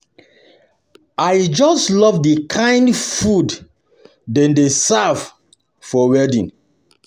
I just love the kin food dem dey serve for wedding